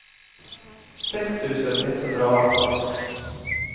sex tusen etthundraarton